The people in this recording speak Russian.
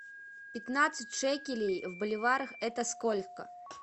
пятнадцать шекелей в боливарах это сколько